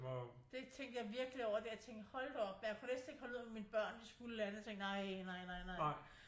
Det tænkte jeg virkeligt over der jeg tænkte hold da op men jeg kunne næsten ikke holde ud når mine børn skulle et eller andet jeg tænkte nej nej nej nej